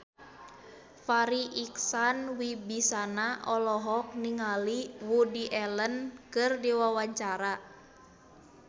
Farri Icksan Wibisana olohok ningali Woody Allen keur diwawancara